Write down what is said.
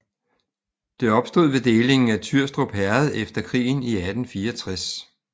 Det opstod ved delingen af Tyrstrup Herred efter krigen i 1864